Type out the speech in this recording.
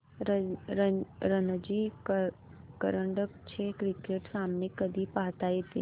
रणजी करंडक चे क्रिकेट सामने कधी पाहता येतील